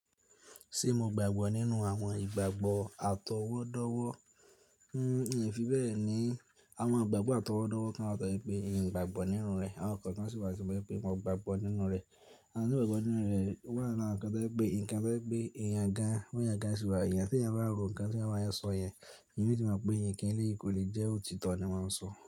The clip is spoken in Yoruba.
Ṣé mo gbàgbọ́ nínú àwọn ìgbàgbọ́ àtọwọ́dọ́wọ́? N o fi bẹ́ẹ̀ ni, àwọn ìgbàgbọ́ àtọwọ́dọ́wọ́ kan wá to je pé n kò gbàgbọ́ nínú rẹ̀, àwọn kan sì wà to je pé mo gbàgbọ́ nínú rẹ̀. Àti gbàgbọ́ nínú rẹ̀ wà lára nǹkan tí ẹ pé nǹkan tí ẹ pé èèyàn ga, wọ́n yóò ga síwà. Èèyàn tí ẹ̀yin á rò nǹkan tí àwọn èèyàn sọ yẹn, èyí ni ó sì máa pé ẹ̀yin kínlékòlé jẹ́ òtítọ́ ni wọ́n máa ń sọ.